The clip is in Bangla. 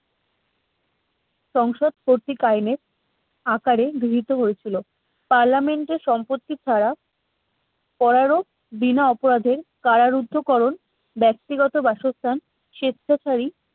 সংসদ কর্তৃক আইনের আকারে গৃহীত হয়েছিল parliament এর সম্পত্তি ছাড়া করা রোপ বিনা অপরাধে কারারুদ্ধকরণ ব্যক্তিগত বাসস্থান স্বেচ্ছাচারী